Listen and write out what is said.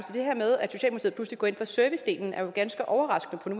så pludselig går ind for servicedelen er jo ganske overraskende på